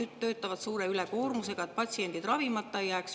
Arstid töötavad suure ülekoormusega, et patsiendid ravimata ei jääks.